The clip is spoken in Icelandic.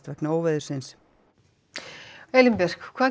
vegna óveðursins Elín hvað